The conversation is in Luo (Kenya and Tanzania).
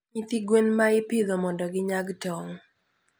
nyithi gwen ma ipidho mondo ginyag tong'.